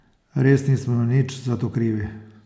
Res nismo nič zato krivi ...